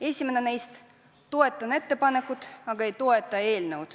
Esimene neist: "Toetan ettepanekut, aga ei toeta eelnõu.